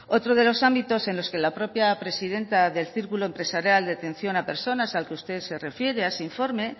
otro de los ámbitos en los que la propia presidenta del círculo empresarial de atención a personas al que usted se refiere a ese informe